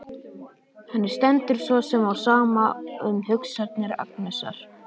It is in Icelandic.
Henni stendur svo sem á sama um hugsanir Agnesar.